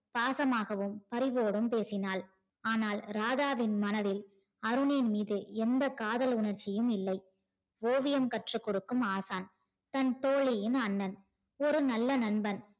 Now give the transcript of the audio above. பாசமாகவும் பரிவோடும் பேசினால் ஆனால் ராதாவின் மனதில் அருணின் மீது எந்த காதல் உணர்ச்சியும் இல்லை ஓவியம் கற்று கொடுக்கும் ஆசான் தன் தோழியின் அண்ணன் ஒரு நல்ல நண்பன்